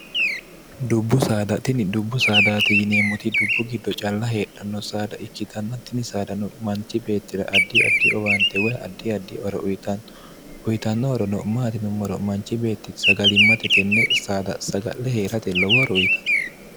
dubbu saadatini dubbu saadaate yineemmoti dubbu giddo calla heedhanno saada ikkitannattini saadano manchi beettila addi addi owaante woy addi adi ore uyitanno uyitannoorono maati nummaro manchi beetti sagalimmate tenne saada saga'le hee'rate lowo horo uyitanno